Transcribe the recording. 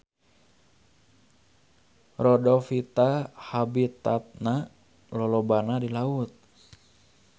Rhodophyta habitatna lolobana di laut.